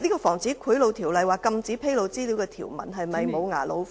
《防止賄賂條例》有關禁止披露資料的條文是否"無牙老虎"呢？